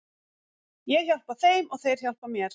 Ég hjálpa þeim og þeir hjálpa mér.